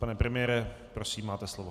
Pane premiére, prosím, máte slovo.